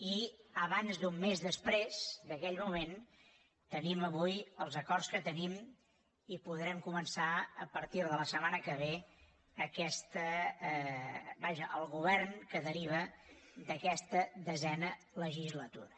i abans d’un mes després d’aquell moment tenim avui els acords que tenim i podrem començar a partir de la setmana que ve el govern que deriva d’aquesta desena legislatura